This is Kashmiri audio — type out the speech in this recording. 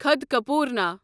خدکپورنا